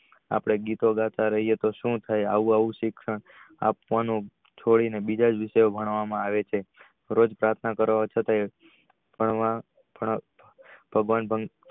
આપડે ગીતો ગાતા રાએ તો સુ થઈ આવું આવું શિક્ષણ આપવાનું છોડી ને બીજા જ ભણવામાં આવે છે રોજ પાર્થના કરવા છતાં ભણવા